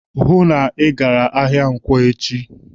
"Hụụ na Ị gara ahịa nkwọ echi!"